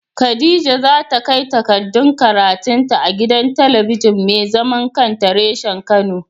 Khadija za ta kai takardun karatun ta a gidan talabijin mai zaman kanta reshen kano.